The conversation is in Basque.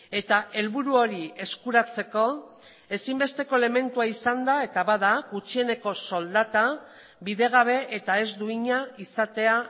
eta helburu hori eskuratzeko ezinbesteko elementua izan da eta bada gutxieneko soldata bidegabe eta ez duina izatea